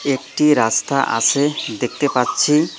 একটি রাস্তা আসে দেখতে পাচ্ছি।